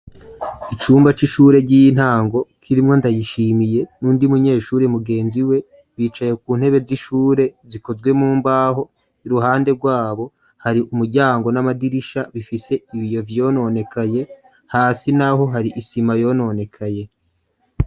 Icumba c'ishure ry'iyintango, k'irimwo ndayishimiye nundi munyeshuri mugenzi we, bicaye ku ntebe z'ishure zikozwe mumbaho ,iruhande rwabo hari umuryango n'amadirisha bifise ibiyo vyononekaye, hasi n'aho hari isima yononekaye.